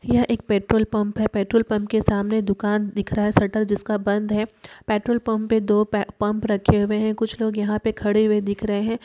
यह एक petrol pump है। पेट्रोल पंप के सामने दुकान दिख रहा है। शटर जिसका बंद है। पेट्रोल पंप पे दो पे-पंप रखे हुए है। कुछ लोग यहां पे खड़े हुए दिख रहे है।